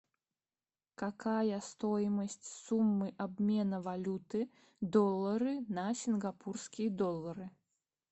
какая стоимость суммы обмена валюты доллары на сингапурские доллары